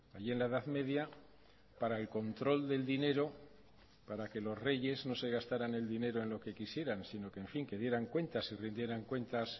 en la edad media para el control del dinero para que los reyes no se gastaran el dinero en lo que quisieran sino que rindieran cuentas de